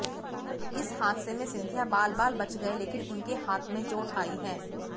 इस हादसे में सिंधिया बाल बाल बच गए लेकिन उनके हाथ में चोट आई है